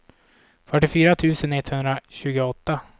fyrtiofyra tusen etthundratjugoåtta